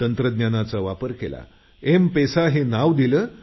तंत्रज्ञानाचा वापर केला एमपेसा हे नाव दिलं